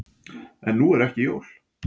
En nú eru ekki jól.